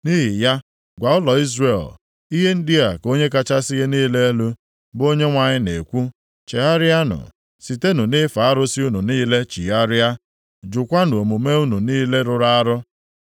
“Nʼihi ya, gwa ụlọ Izrel, ‘Ihe ndị a ka Onye kachasị ihe niile elu, bụ Onyenwe anyị na-ekwu, Chegharịanụ! Sitenụ nʼife arụsị unu niile chigharịa, jukwanụ omume unu niile rụrụ arụ.